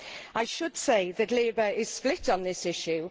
I should say that Labour is split on this issue.